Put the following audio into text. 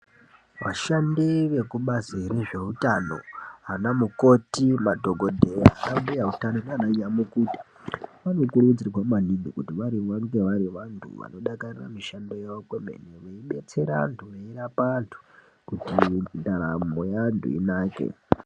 Vashandi vekubazi rezveutano anamukoti, madhokodheya, anambuya utano nananyamukuta vanokurudzirwa maningi kuti vange vari vantu vanodakarira mishando yavo kwemene veidetsera antu veirapa antu kuti ndaramo yeantu inake.